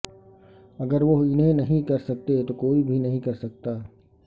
اگر وہ انہیں نہیں کر سکتے تو کوئی بھی نہیں کرسکتا